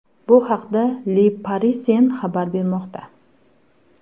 Bu haqda Le Parisien xabar bermoqda .